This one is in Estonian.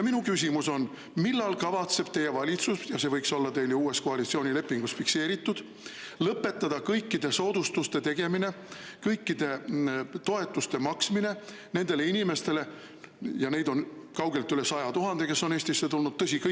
Minu küsimus on: millal kavatseb teie valitsus – see võiks olla teil uues koalitsioonilepingus fikseeritud – lõpetada kõikide soodustuste tegemise, kõikide toetuste maksmise nendele inimestele, keda on kaugelt üle 100 000 ja kes on Eestisse tulnud?